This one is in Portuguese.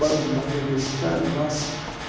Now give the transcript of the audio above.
Bang-bang americano, nossa!